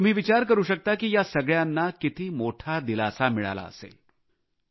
तुम्ही विचार करू शकता की या सगळ्यांना किती मोठा दिलासा मिळाला असेल